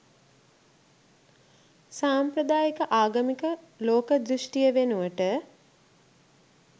සාම්ප්‍රදායික ආගමික ලෝක දෘෂ්ටිය වෙනුවට